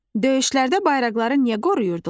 Döyüşlərdə bayraqları niyə qoruyurdular?